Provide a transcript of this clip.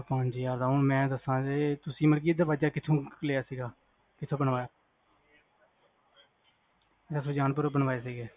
ਬਿਲਕੁਲ ਪੰਜ ਹਜ਼ਾਰ ਦਾ ਹੁਣ ਮੈਂ ਦਸ਼ਾ ਜੇ ਤੁਸੀ ਮਤਲਬ ਕ ਇਹ ਦਰਵਾਜ਼ਾ ਕਿਥੋਂ ਬਣਵਾਇਆ ਸੀ? ਅੱਛਾ ਸੁਜਾਨਪੁਰੋਂ ਬਣਵਾਏ ਸੀਗੇ